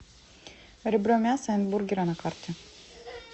ре бро мясо энд бургеры на карте